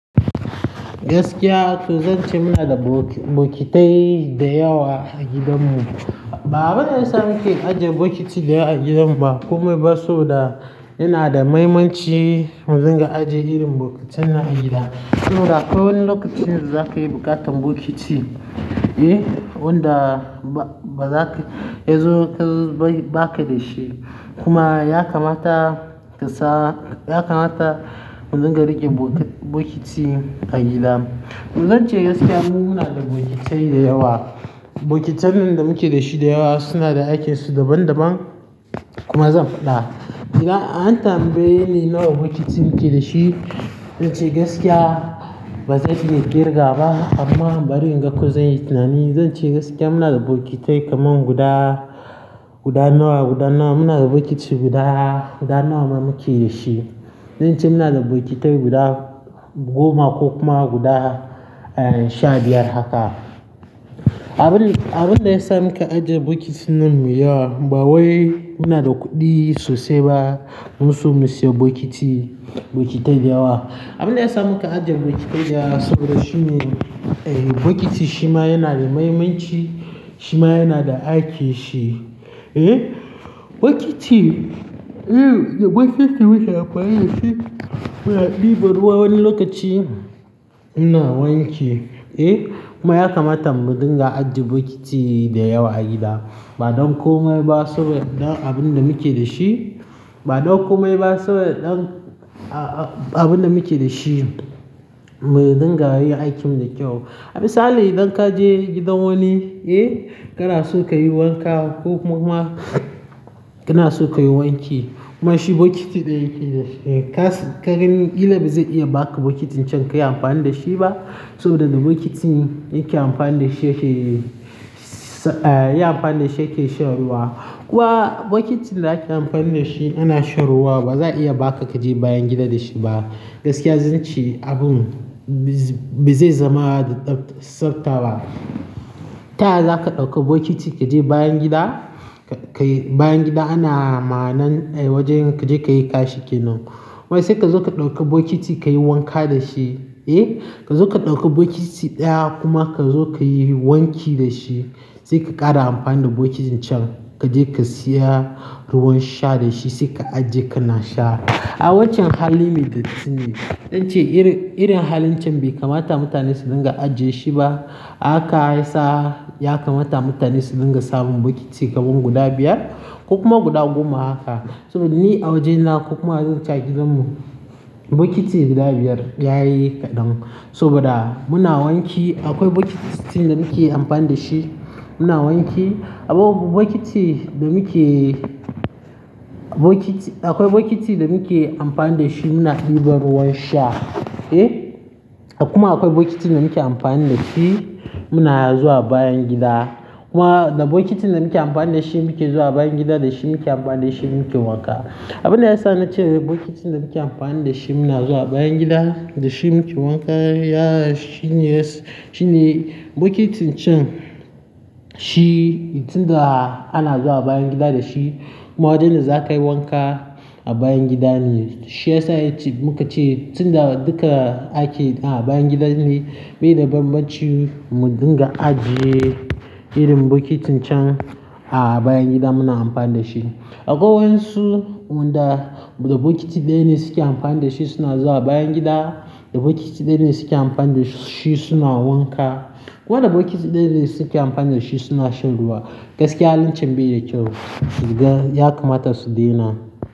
Gaskiya zan ce muna da bokitai da yawa a gidanmu. Ba abunda yasa muke ajiye bokiti da yawa a gidan ba komai ba so da yana da mahimmanci mu dinga ajiye irin bokitan nan a gida. Saboda akwai wani lokacin zaka yi buƙatar bokiti, eh, wanda ba zaka yanzu ka ba ka da shi kuma ya kamata ka sa, ya kamata mu dinga riƙe bokiti a gida. Zan ce gaskiya mu muna da bokitai da yawa. Bokitun nan da muke da shi da yawa suna da aikinsu daban daban. Kuma zan faɗa, idan an tambaye ni nawa bokitin muke da shi, zan ce gaskiya ba zan iya ƙirga ba amma bari in ga ko zan yi tunani. Zan ce gaskiya muna da bokitai kaman guda, guda nawa, guda nawa muna da bokiti guda, guda nawa muke da shi. Zan ce muna da bokitai guda goma ko kuma guda sha biyar haka. Abin, abin da ya sa muka ajiye bokitin nan mai yawa, ba wai muna da kuɗi sosai ba musu mu siyo bokiti, bokitai da yawa. Abin da ya sa muka ajiye bokitai da yawa saboda shine bokiti shima yana da mahimmanci, shima yana da aikin shi, eh? Bokiti-- da bokitin muke amfani dashi muna ɗiban ruwa wani lokaci ina wanki kuma ya kamata mu dinga ajiye bokiti da yawa a gida. Ba don komai ba saboda ɗan abin da muke da shi, ba don komai ba saboda ɗan a-a-abin da muke da shi mu dinga yin aikin mu da kyau. Misali idan ka je gidan wani, eh? Kana so ka yi wanka ko kuma ma kana so ka yi wanki. Kuma shi bokiti ɗaya yake da shi. Ka gani kila ba zai iya ba ka bokitin can ka yi amfani da shi ba saboda da bokitin yake amfani da shi yake-- yayi amfani da shi yake shan ruwa. Kuma bokitin da ake amfani da shi ana shan ruwa, ba za a iya ba ka ka je bayan gida da shi ba. Gaskiya zan ce abun ba zai zama da tsafta ba. Ta yaya za ka ɗauki bokiti ka je bayan gida? Ka yi bayan gida ana ma'anan wajen ka je ka yi kashi kenan. Wai sai ka zo ka ɗauki bokiti ka yi wanka da shi, eh? Ka zo ka ɗauki bokiti ɗaya kuma ka zo ka yi wanki da shi. Sai ka ƙara amfani da bokitin can ka je ka siya ruwan sha da shi sai ka ajiye kana sha. A waccen halin me datti ne. Zan ce irin, irin halin can bai kamata mutane su dinga ajiye shi ba. A haka yasa ya kamata mutane su dinga samun bokiti kaman guda biyar ko kuma guda goma haka saboda ni a wajena ko kuma in ce a gidanmu bokiti guda biyar yayi kaɗan. Saboda muna wanki akwai bokitin da muke amfani da shi muna wanki. Akwai bokiti da muke, bokiti, akwai bokiti da muke amfani da shi muna ɗiba ruwan sha, eh? Kuma akwai bokitin da muke amfani da shi muna zuwa bayan gida. Kuma da bokitin da muke amfani da shi muke zuwa bayan gida da shi muke amfani da shi muke wanka. Abin da ya sa na ce bokitin da muke amfani da shi muna zuwa bayan gida da shi muke wanka, ya shine, shine bokitin can shi tun da ana zuwa bayan gida da shi. Kuma wajen da za ka yi wanka a bayan gida ne. Shi ya sa yace-- muka ce tun da duka aikin a bayan gida ne bai da banbanci mu dinga ajiye irin bokitin can a bayan gida muna amfani da shi. Akwai wayansu wanda da bokiti ɗaya ne suke amfani da shi suna zuwa bayan gida, da bokiti ɗaya ne suke amfani da shi suna wanka. Kuma da bokiti ɗaya ne suke amfani da shi suna shan ruwa. Gaskiya halin can bai da kyau. Ya kamata su daina.